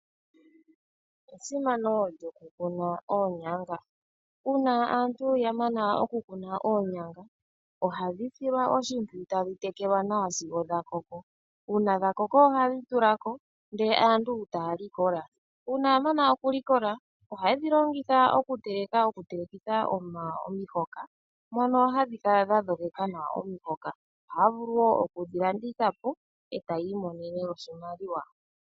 Esimano lyoku kuna oonyanga, uuna aantu ya mana oku kuna oonyanga ohadhi silwa oshimpwiyu tadhi tekelwa nawa sigo dha koko, uuna dha koko ohadhi tula ko ndele aantu taya likola. Uuna ya mana okulikola ohaye dhi longitha okuteleka, okutelekitha omihoka mono hadhi kala dha dhogeka nawa omihoka. Ohaya vulu woo okudhi landitha po e taya imonene oshimaliwa.